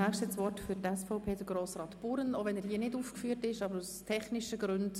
Als dieser Antrag diskutiert wurde, hatte ich zuerst Verständnis dafür.